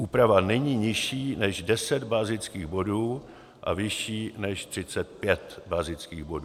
Úprava není nižší než 10 bazických bodů a vyšší než 35 bazických bodů.